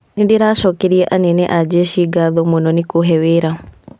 "Nĩndĩracokeria anene a jeshi ngaatho mũno nĩ kũũhe wira".